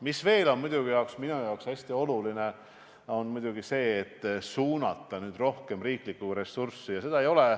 Minu jaoks on muidugi hästi oluline ka see, et sellesse valdkonda suunataks rohkem riiklikku ressurssi.